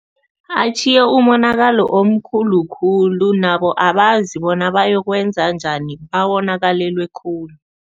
Atjhiye umonakalo omkhulu khulu nabo abazi bona bayokwenza njani, bawonakalelwe khulu.